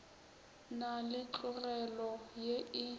na le tlogelo ye e